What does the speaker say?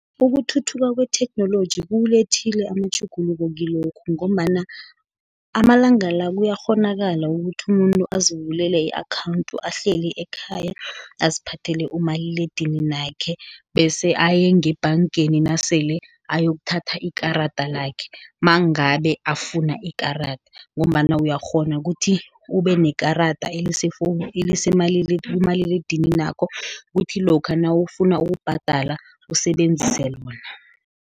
Ukuthuthuka kwetheknoloji kuwulethile amatjhuguluko kilokho, ngombana amalanga la, kuyakghonakala ukuthi umuntu azivulele i-akhawunti ahleli ekhaya, aziphathele umaliledininakhe, bese ayengebhangeni nasele ayokuthatha ikarada lakhe, mangabe afuna ikarada, ngombana uyakghona kuthi ubenekarada elikumaliledininakho kuthi lokha nawufuna ukubhadala usebenzise lona.